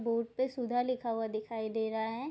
Board पे सुधा लिखा हुआ दिखाई दे रहा है।